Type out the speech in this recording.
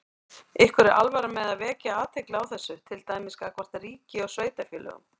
Ykkur er alvara með að vekja athygli á þessu, til dæmis gagnvart ríki og sveitarfélögum?